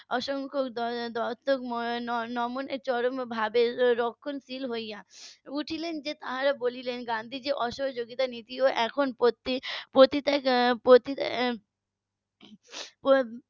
অসংখ দত্তক . রক্ষণশীল হয়ে উঠলেন তারা বললেন যে অসহযোগিতা নীতি এখন .